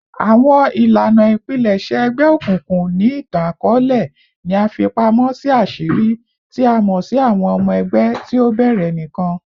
Awọn ilana ipilẹṣẹ egbeokunkun ni itan-akọọlẹ ni a fi pamọ si aṣiri, ti a mọ si awọn ọmọ ẹgbẹ ti o bẹrẹ nikan